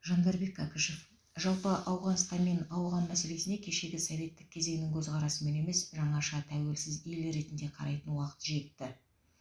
жандарбек кәкішев жалпы ауғанстан мен ауған мәселесіне кешегі советтік кезеңнің көзқарасымен емес жаңаша тәуелсіз ел ретінде қарайтын уақыт жетті